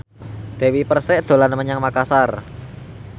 Dewi Persik dolan menyang Makasar